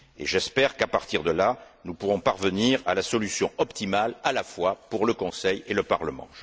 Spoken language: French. J'espère qu'à partir de là, nous pourrons parvenir à la solution optimale à la fois pour le Conseil et le Parlement.